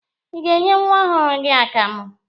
Ị na-enye nwa ọhụrụ gị akamụ?